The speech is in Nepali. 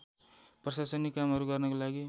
प्रशासनिक कामहरू गर्नका